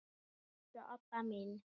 eins og Obba mín.